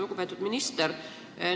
Lugupeetud minister!